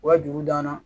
U ka dugu danna